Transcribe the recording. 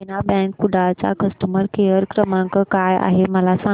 देना bank Kudal चा customer care क्रमांक काय आहे मला सांगा